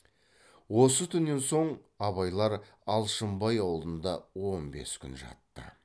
осы түннен соң абайлар алшынбай аулында он бес күн жатты